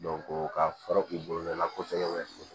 ka fɔru bolo la kosɛbɛ